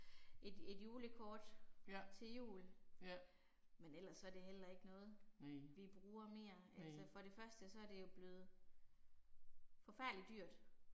Et et julekort til jul. Men ellers så det heller ikke noget, vi bruger mere. Altså for det første så er det jo blevet forfærdeligt dyrt